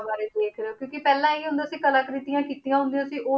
ਬਾਰੇ ਦੇਖ ਰਹੇ ਹੋ ਕਿਉਂਕਿ ਪਹਿਲਾਂ ਇਹ ਹੁੰਦਾ ਕਿ ਕਲਾਕ੍ਰਿਤੀਆਂ ਕੀਤੀਆਂ ਹੁੰਦੀਆਂ ਸੀ ਉਹ